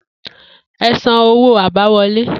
E̩ san owó abáwo̩lé!